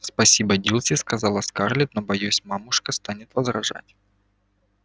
спасибо дилси сказала скарлетт но боюсь мамушка станет возражать